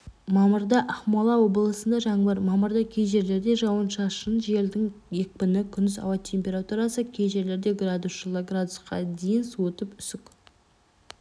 мамырда ақмола облысында жаңбыр мамырда кей жерлерде жауын-шашын желдің екпіні күндіз ауа температурасы кей жерлерде градус жылы градусқа дейін суытып үсік